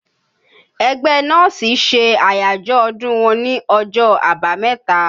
Ẹgbẹ́ nọ́ọ̀sì ṣe àyájọ́ ọdún wọn ní ọjọ́ àbámẹ́ta